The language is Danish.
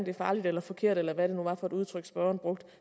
er farligt eller forkert eller hvad det nu var for et udtryk spørgeren brugte